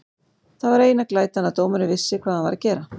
Það var eina glætan að dómarinn vissi hvað hann var að gera.